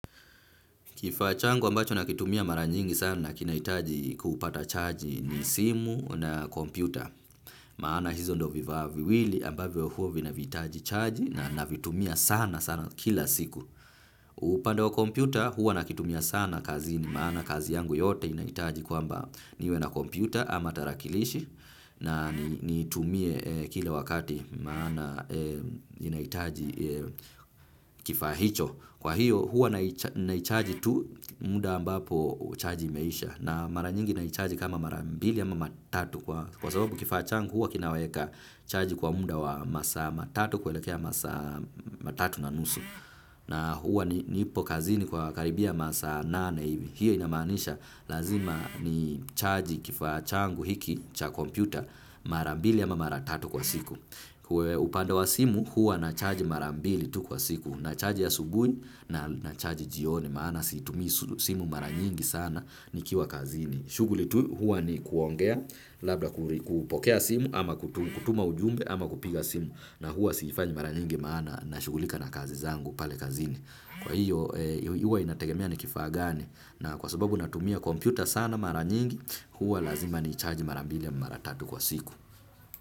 Kifaa changu ambacho nakitumia mara nyingi sana kinahitaji kupata charge ni simu na kompyuta. Maana hizo ndo vifaa viwili ambavyo huwa vinahitaji charge na navitumia sana sana kila siku. Upande wa kompyuta huwa nakitumia sana kazini maana kazi yangu yote inahitaji kwamba niwe na kompyuta ama tarakilishi na nitumie kila wakati maana inahitaji kifaa hicho. Kwa hiyo huwa naicharji tu muda ambapo charji imeisha na mara nyingi naicharji kama mara mbili ama mara tatu kwa sababu kifaa changu huwa kinaweka charji kwa muda wa masa matatu kuelekea masaa matatu na nusu na huwa nipo kazini kwa karibia masaa nane hiyo inamaanisha lazima ni charji kifaa changu hiki cha kompyuta mara mbili ama mara tatu kwa siku. Kwa upande wa simu huwa na charge mara mbili tu kwa siku na charge ya asubuhi na charge jioni maana situmii simu mara nyingi sana nikiwa kazini. Shughuli tu huwa ni kuongea labda kupokea simu ama kutuma ujumbe ama kupiga simu na huwa siifanyi mara nyingi maana na shughulika na kazi zangu pale kazini. Kwa hiyo huwa inategemea ni kifaa gani na kwa sababu natumia kompyuta sana mara nyingi huwa lazima ni charge mara mbili ya mara tatu kwa siku.